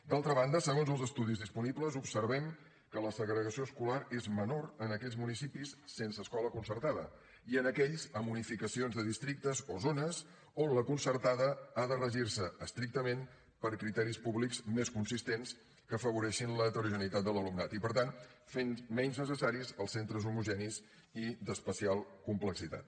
d’altra banda segons els estudis disponibles observem que la segregació escolar és menor en aquells municipis sense escola concertada i en aquells amb unificacions de districtes o zones on la concertada ha de regir se estrictament per criteris públics més consistents que afavoreixin l’heterogeneïtat de l’alumnat i per tant fent menys necessaris els centres homogenis i d’especial complexitat